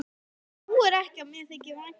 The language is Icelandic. Trúirðu ekki að mér þyki vænt um þig?